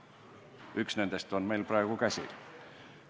Üks nendest on meil praegu käsil.